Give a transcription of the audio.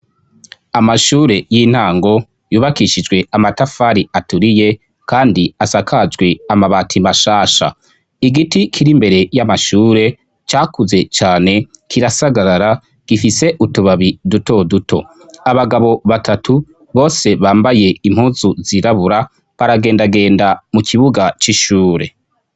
amashure y'intango yubakishijwe amatafari aturiye kandi asakajwe amabati mashasha igiti kiri mbere y'amashure cyakuze cyane kirasagarara gifise utubabi duto duto abagabo batatu bose bambaye impuzu zirabura baragendagenda mu kibuga cy'ishure